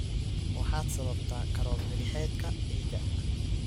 Waxaad sababtaa koror milixeedka ciidda.